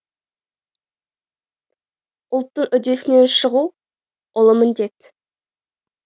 ұлттың үдесінен шығу ұлы міндет